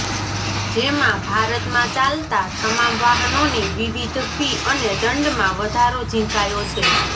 જેમાં ભારતમાં ચાલતા તમામ વાહનોની વિવિધ ફી અને દંડમાં વધારો ઝીંકાયો છે